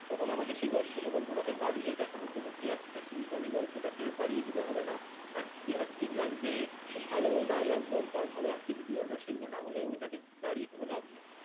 তখন আমাকে সেই ছোট গল্পটাকে বাড়িয়ে দেখানোর জন্য কি actor শুধু তো আমি গল্পটাকে বাড়িয়ে দিলে হবে না এক acting লাগবে ভালো dialogue দরকার ভালো activity দরকার সেগুলো না এ এ ওইটাকে বাড়িয়ে কোন লাভ নেই